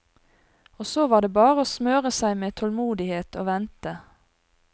Og så var det bare å smøre seg med tålmodighet og vente.